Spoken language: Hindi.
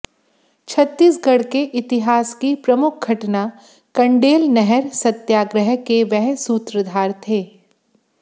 छत्तीसगढ़ के इतिहास की प्रमुख घटना कंडेल नहर सत्याग्रह के वह सूत्रधार थे